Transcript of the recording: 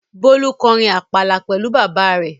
Bólú kọrin àpàlà pẹ̀lú bàbá rẹ̀.